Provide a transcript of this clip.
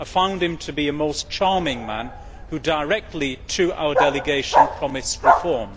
I found him to be a most charming man who, directly to our delegation, promised reform.